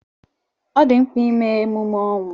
Ọ dị mkpa ime emume ọnwụ.